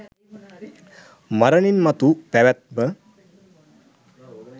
මරණින් මතු පැවැත්ම